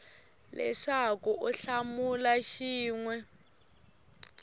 leswaku u hlamula xin we